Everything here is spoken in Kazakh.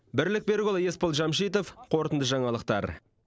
бірлік берікұлы есбол жамшитов қорытынды жаңалықтар